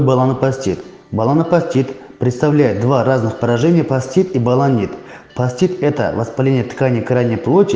баланопостит баланопостит представляет два разных поражения постит и баланит постит это воспаление тканей крайней плоти